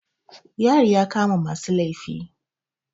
Yari ya kama masu laifi.